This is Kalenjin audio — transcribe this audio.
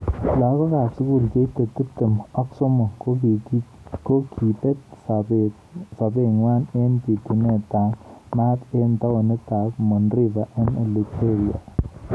Lakakok ab sukul cheitei tip tem ak somok kokibet sabet nwa eng bitunet ab maat eng taonit ab Monrivia eng Liberia.